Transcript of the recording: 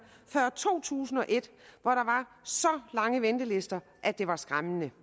før to tusind og et hvor der var så lange ventelister at det var skræmmende